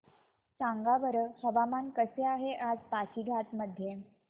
सांगा बरं हवामान कसे आहे आज पासीघाट मध्ये